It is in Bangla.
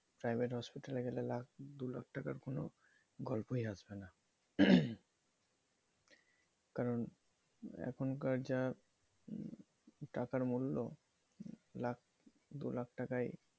private hospital লাখ দু লাখ টাকা গল্পই হবেনা কারন এখনকার যা টাকার মূল্য লাখ দু লাখ টাকায়